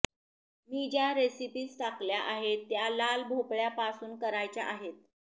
मी ज्या रेसिपीज टाकल्या आहेत त्या लाल भोपळ्या पासुन करायच्या आहेत